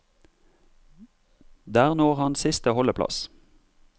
Der når han siste holdeplass.